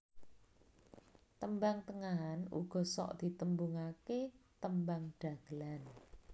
Tembang Tengahan uga sok ditembungake Tembang Dhagelan